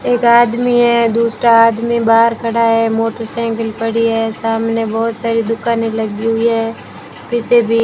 एक आदमी है दूसरा आदमी बाहर खड़ा है मोटरसाइकिल पड़ी है सामने बहुत सारी दुकानें लगी हुई है पीछे भी --